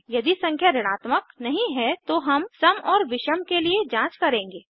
यदि संख्या ऋणात्मक नहीं है तो हम सम और विषम के लिए जांच करेंगे